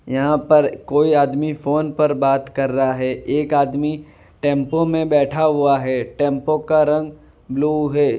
यहां पर कोई आदमी फोन पर बात कर रहा है एक आदमी टेम्पो में बैठा हुआ है टेम्पो का रंग ब्ल्यू है।